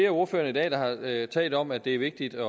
af ordførerne i dag der har talt om at det er vigtigt